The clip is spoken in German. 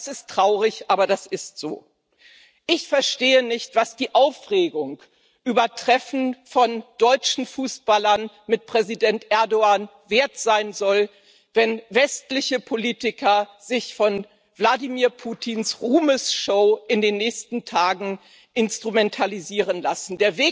Das ist traurig, aber das ist so. Ich verstehe nicht, was die Aufregung über Treffen von deutschen Fußballern mit Präsident Erdoğan wert sein soll, wenn westliche Politiker sich von Wladimir Putins Ruhmesshow in den nächsten Tagen instrumentalisieren lassen.